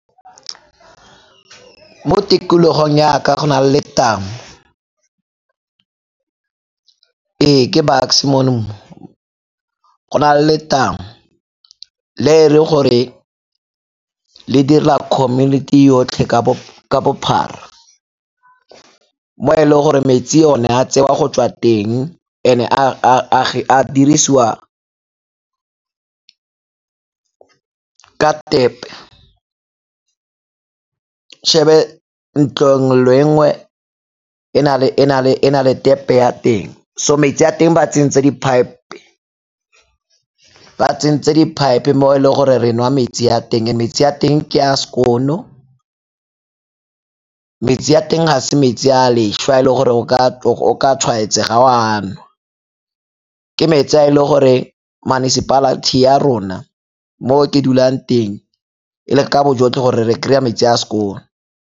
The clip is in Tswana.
Mo tikologong ya ka go na le letamo, ee, ke Bucks-e mono. Go na le letamo le e re gore le dira community yotlhe ka bophara, mo e leng gore metsi one a tsewa go tswa teng and-e a dirisiwa ka tap-e. ntlo nngwe le nngwe e na le tap-e ya teng. So metsi a teng ba tsentse di-pipe, ba tsentse di-pipe mo e le gore re nwa metsi a teng, metsi a teng ke a skoon-o, metsi a teng ga se metsi a a leswe a e le gore o ka tshwaetsega o a nwa. Ke metsi a e le gore municipality ya rona mo ke dulang teng e leka ka bojotlhe gore re kry-e metsi a a skoon-o.